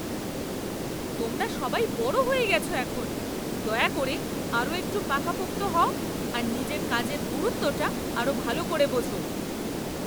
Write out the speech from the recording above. তোমরা সবাই বড় হয়ে গেছ এখন! দয়া করে আরও একটু পাকাপোক্ত হও আর নিজের কাজের গুরুত্বটা আরও ভালো করে বোঝো।